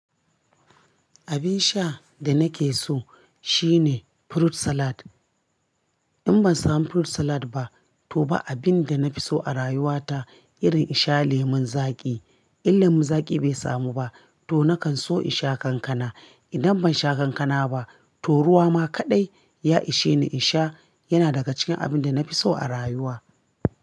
Abin sha da nake so shine fruit salad. In ban samu fruit salad ba, to ba abin da na fi so a rayuwa ta irin isha lemun zaƙi. In lemun zaƙi bai samu ba, to nakan so in sha kankana. Idan ban sha kankana ba, to ruwa ma kaɗai ya isheni in sha, yana daga cikin abin da na fi so a rayuwa.